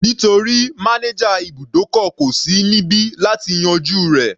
Nítorí manager ibùdókọ̀ kò sí níbi láti yanjú rẹ̀.